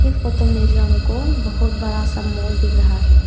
Photo में जो हमको बहोत बड़ा सा मॉल दिख रहा है।